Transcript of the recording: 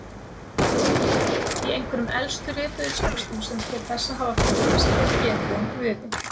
Í einhverjum elstu rituðu textum sem til þessa hafa fundist er getið um guði.